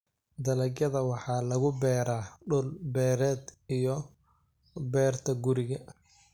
Dalagyada waxaa lagu beeraa dhul beereed iyo beerta guriga.